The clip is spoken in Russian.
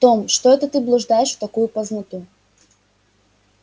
том что это ты блуждаешь в такую поздноту